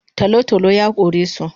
Talotalo yakoresu